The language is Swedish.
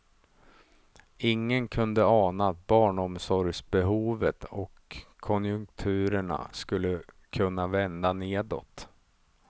Ingen kunde ana att barnomsorgsbehovet och konjunkturerna skulle kunna vända nedåt.